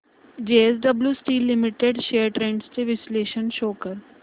JSW steel limited shares trends चे विश्लेषण show कर